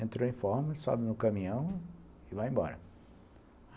Entra em forma, sobe no caminhão e vai embora.